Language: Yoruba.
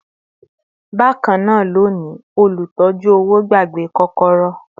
Bakana loni, olutọ̀ju-owo gbàgbé kokoro